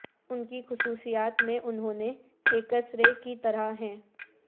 ان کی خصوصیات میں انہوں نے ایکس رے کی طرح ہیں